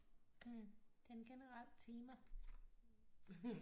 Det er en generel tema